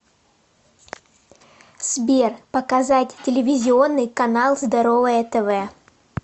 сбер показать телевизионный канал здоровое тв